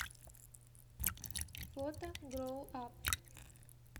фото гроуап